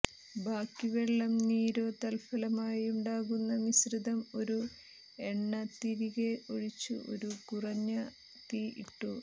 ബാക്കി വെള്ളം നീരോ തത്ഫലമായുണ്ടാകുന്ന മിശ്രിതം ഒരു എണ്ന തിരികെ ഒഴിച്ചു ഒരു കുറഞ്ഞ തീ ഇട്ടു